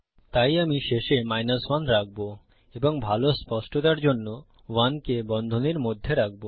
তাই আমি শেষে 1 রাখবো এবং ভাল স্পষ্টতার জন্য 1 কে বন্ধনীর মধ্যে রাখবো